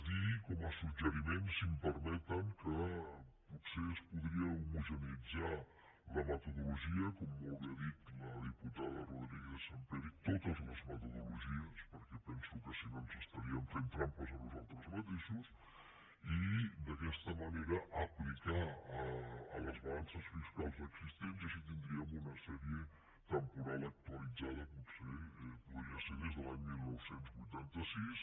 dir com a suggeriment si m’ho permeten que potser es podria homogeneïtzar la metodologia com molt bé ha dit la diputada martínez sampere rodrigo i totes les metodologies perquè penso que si no ens estaríem fent trampes a nosaltres mateixos i d’aquesta manera aplicar la a les balances fiscals existents i així tindríem una sèrie temporal actualitzada potser podria ser des de l’any dinou vuitanta sis